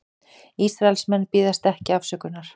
Ísraelsmenn biðjast ekki afsökunar